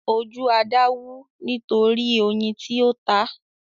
Ojú Ada wú nítorí oyin tí ó tá.